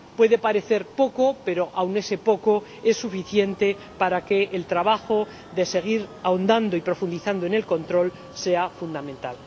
Puede parecer poco, pero aun ese poco es suficiente para que el trabajo de seguir ahondando y profundizando en el control sea fundamental.